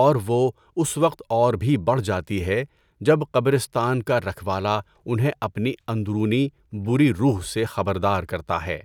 اور وہ اس وقت اور بھی بڑھ جاتی ہے جب قبرستان کا رکھوالا انہیں اپنی اندرونی بری روح سے خبردار کرتا ہے۔